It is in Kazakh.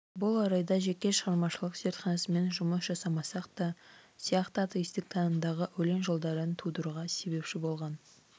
бұл орайда жеке шығармашылық зертханасымен жұмыс жасамасақ та сияқты атеистік танымдағы өлең жолдарын тудыруға себепші болған